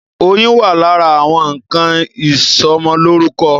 Oyin wà lára àwọn nnkan ìsọmọlórúkọ.